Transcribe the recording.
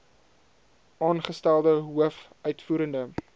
aangestelde hoof uitvoerende